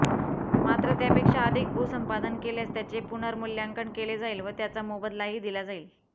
मात्र त्यापेक्षा अधिक भूसंपादन केल्यास त्याचे पुनर्मूल्यांकन केले जाईल व त्याचा मोबदलाही दिला जाईल